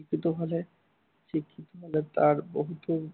শিক্ষিত হলে, শিক্ষিত হলে তাৰ বহুতো